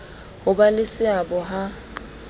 ho ba le seabo ha